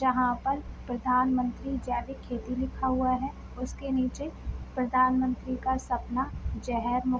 जहाँ पर प्रधानमंत्री जैविक खेती लिखा हुआ है उसके नीचे प्रधानमंत्री का सपना जेहेर मु --